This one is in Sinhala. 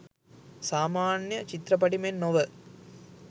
සාමාන්‍ය චිත්‍රපටි මෙන් නොව